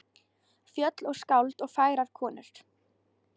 Fjöll og skáld og fagrar konur.